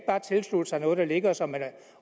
tilslutte sig noget der ligger som man